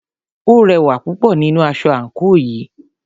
O rẹwà púpọ̀ nínú aṣọ àńkò yìí.